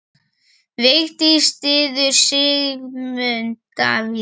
Vigdís styður Sigmund Davíð.